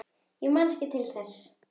Ég man ekki til þess.